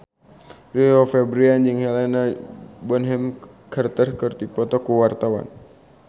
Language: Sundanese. Rio Febrian jeung Helena Bonham Carter keur dipoto ku wartawan